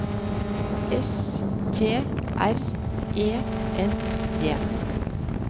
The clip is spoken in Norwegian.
S T R E N G